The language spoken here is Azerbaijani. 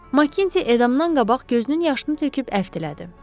Makintie edamdan qabaq gözünün yaşını töküb əfv elədi.